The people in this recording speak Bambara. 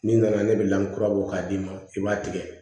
N'i nana ne bɛ lankura bɔ k'a d'i ma i b'a tigɛ